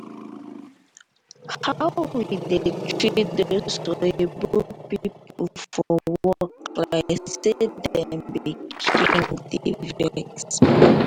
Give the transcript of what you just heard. how we dey treat doz oyinbo people for work like say dem be king dey vex me